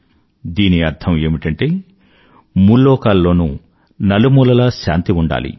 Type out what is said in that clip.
దీని అర్థం ఏమిటంటే ముల్లోకాల్లోనూ నలుమూలలా శాంతి ఉండాలి